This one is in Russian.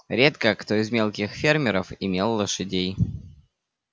редко кто из мелких фермеров имел лошадей